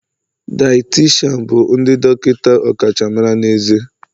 Dieticianu bụ ndị dọkịta ọkachamara na ezé